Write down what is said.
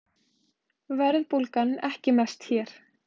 Verðbólgan ekki mest hér